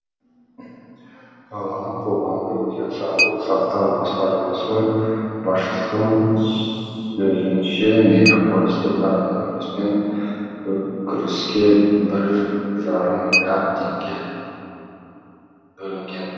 қалалық қоғамдық денсаулық сақтау басқармасы басшысының сөзінше мегаполисте коронавируспен күреске бір жарым миллиард теңге бөлінген